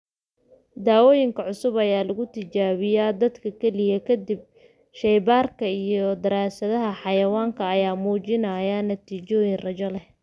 Daawooyinka cusub ayaa lagu tijaabiyaa dadka kaliya ka dib shaybaarka iyo daraasadaha xayawaanka ayaa muujinaya natiijooyin rajo leh.